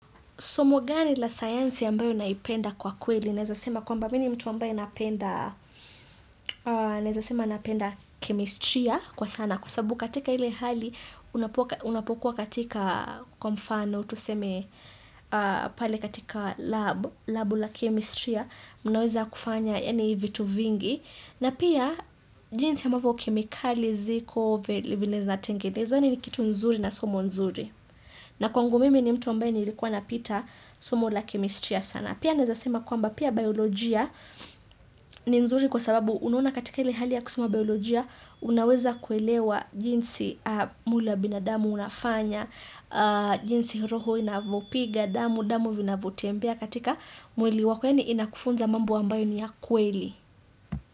Somo gani la sayansi mbalo nalipenda kwa kweli, naeza sema kwamba mimi mtu ambaye napenda, naeza sema napenda chemistrya kwa sana. Kwa sababu katika ile hali, unapokuwa katika kwa mfano, tuseme pale katika labu la chemistrya, munaweza kufanya, yani vitu vingi. Na pia, jinsi ambavyo kemikali, ziko, vile zinatengenezwa, yani kitu nzuri na somo zuri. Na kwangu mimi ni mtu ambaye nilikuwa napita somo la kemestria sana. Pia naeza sema kwamba pia biolojia ni nzuri kwa sababu unaona katika ili hali ya kusoma biolojia unaweza kuelewa jinsi mwili wa binadamu unafanya, jinsi roho inavyopiga, damu inavyotembea katika mwili wako yani inakufunza mambo ambayo ni ya kweli.